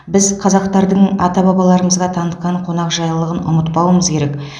біз қазақтардың ата бабаларымызға танытқан қонақжайлығын ұмытпауымыз керек